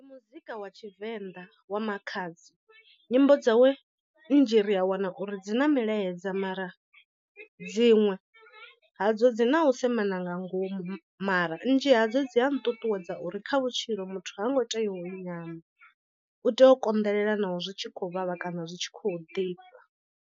Ndi muzika wa tshivenḓa wa Makhadzi nyimbo dzawe nnzhi ri a wana uri dzi na milaedza mara dziṅwe ha dzo dzi na u semana nga ngomu mara nnzhi hadzo dzi a nṱuṱuwedza uri kha vhutshilo muthu ha ngo tea u nyama u tea u konḓelela naho zwi tshi khou vhavha kana zwi tshi khou ḓifha.